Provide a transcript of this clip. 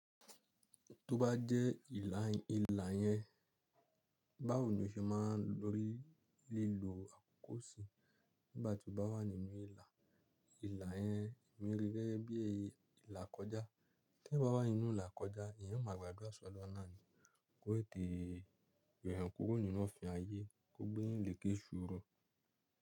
Tó bá jẹ́ ila- ilà yẹn, báwo ni o ṣe máa rí lílo àkókò sí nígbà tí o bá wà nínú ilà? Ilà yẹn mì ri gẹ́gẹ́ bí ilàkọjá. Tí ẹ̀yan bá wà nínú ilà kọjá, ìyẹn máa gba àdúrà solorun náà ni kò tẹ̀te yo eyan kuro nínu ofin ayé, kó gbé eyan lèké iṣòro.